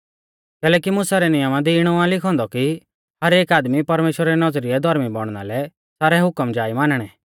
कैलैकि मुसा रै नियमा दी इणौ आ लिखौ औन्दौ कि हरेक आदमी परमेश्‍वरा री नौज़रीऐ धौर्मी बौणना लै सारै हुकम जा ई मानणै